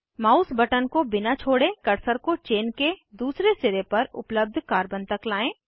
mouse button को बिना छोड़े कर्सर को चेन के दूसरे सिरे पर उपलब्ध कार्बन तक लाएं